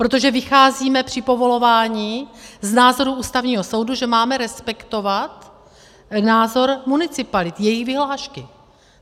Protože vycházíme při povolování z názoru Ústavního soudu, že máme respektovat názor municipalit, jejich vyhlášky.